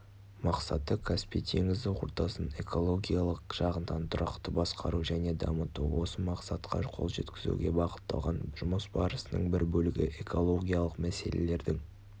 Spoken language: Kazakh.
мақсаты каспий теңізі ортасын экологиялық жағынан тұрақты басқару және дамыту осы мақсатқа қол жеткізуге бағытталған жұмыс барысының бір бөлігі экологиялық мәселелердің